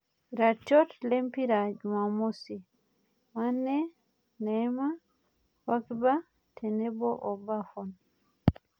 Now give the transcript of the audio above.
Iratiot lempira Jumamosi; Mane, neima, pogiba tenebo o Bafon